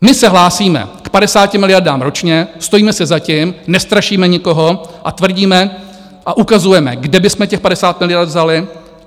My se hlásíme k 50 miliardám ročně, stojíme si za tím, nestrašíme nikoho a tvrdíme a ukazujeme, kde bychom těch 50 miliard vzali.